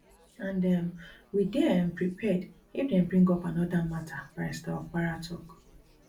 and um we dey um prepared if dem bring up anoda mata barrister opara tok